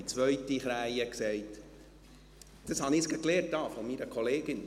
Die zweite Krähe sagte: «Das habe ich jetzt gerade von meiner Kollegin gelernt.